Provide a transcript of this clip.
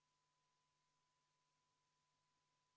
Tulemusega poolt 1, vastu 58 ja erapooletuid 1, ei leidnud ettepanek toetust.